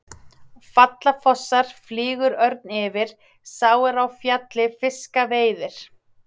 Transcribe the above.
Falla fossar, flýgur örn yfir, sá er á fjalli fiska veiðir.